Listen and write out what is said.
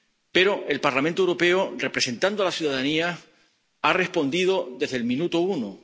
Pero el Parlamento Europeo, representando a la ciudadanía, ha respondido desde el minuto uno.